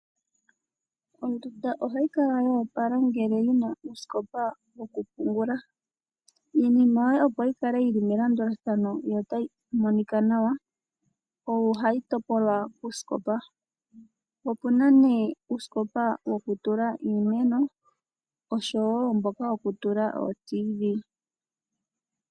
Ondunda ohayi kala yopala ngele yina uusikopa yoku pungula. Iinima yoye opo yikale yili melandulathano notayi monika nawa ohayi topolwa kuusikopa. Opuna ne uusikopa woku tula iimeno oshowo mboka woku tula oTV.